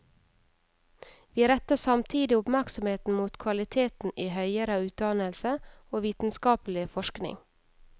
Vi retter samtidig oppmerksomheten mot kvaliteten i høyere utdannelse og vitenskapelig forskning.